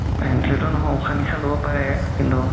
ventilator নহয় উখা নিখা ল'ব পাৰে কিন্তু